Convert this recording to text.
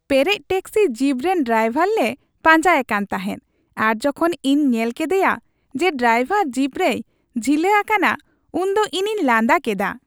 ᱯᱮᱨᱮᱡ taxi jeep ᱨᱮᱱ driver ᱞᱮ ᱯᱟᱸᱡᱟᱭᱮ ᱠᱟᱱ ᱛᱟᱦᱮᱸᱫ ᱟᱨ ᱡᱚᱠᱷᱚᱱ ᱤᱧ ᱧᱮᱞ ᱠᱮᱫᱮᱭᱟ ᱡᱮ ᱰᱨᱟᱭᱵᱷᱟᱨ ᱡᱤᱯ ᱨᱮᱭ ᱡᱷᱤᱞᱟᱹ ᱟᱠᱟᱱᱟ ᱩᱱ ᱫᱚ ᱤᱧᱤᱧ ᱞᱟᱸᱫᱟ ᱠᱮᱫᱟ ᱾